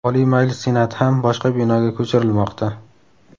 Oliy Majlis Senati ham boshqa binoga ko‘chirilmoqda.